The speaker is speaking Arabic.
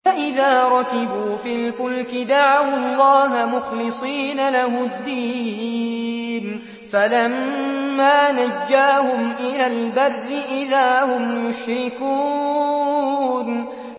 فَإِذَا رَكِبُوا فِي الْفُلْكِ دَعَوُا اللَّهَ مُخْلِصِينَ لَهُ الدِّينَ فَلَمَّا نَجَّاهُمْ إِلَى الْبَرِّ إِذَا هُمْ يُشْرِكُونَ